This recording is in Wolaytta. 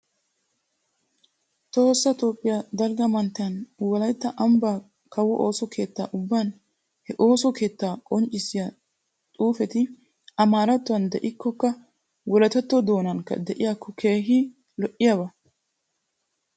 Tohossa Toophphiya dalgga manttiyan wolaytta ambbaa kawo oosso keetta ubban he ooso keettaa qonccissiya xuufeti amaarattuwan de'ikkokka wolayttatto doonankka de'iyakko keehi lo'iyaba.